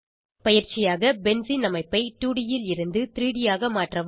பயிற்சியாக பென்சீன் அமைப்பை 2ட் ல் இருந்து 3ட் ஆக மாற்றவும்